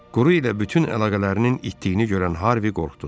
Quru ilə bütün əlaqələrinin itdiyiini görən Harvey qorxdu.